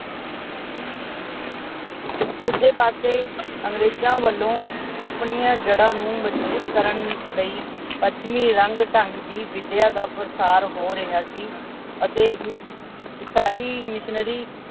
ਦੂਜੇ ਪਾਸੇਂ ਅੰਗਰੇਜਾਂ ਵੱਲੋਂ ਆਪਣੀਆਂ ਜੜ੍ਹਾਂ ਨੂੰ ਮਜਬੂਤ ਕਰਨ ਲਈ ਪੱਛਮੀ ਰੰਗ ਢੰਗ ਦੀ ਵਿਦਿਆ ਦਾ ਪਾਸਾਰ ਹੋ ਰਿਹਾ ਸੀ ਅਤੇ ਈਸਾਈ ਮਿਸ਼ਨਰੀ